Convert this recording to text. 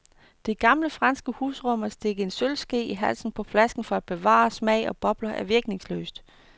Det gamle franske husråd om at stikke en sølvske i halsen på flasken for at bevare smag og bobler er virkningsløst.